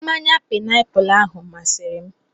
Mmanya paịnapụlụ ahụ masịrị m.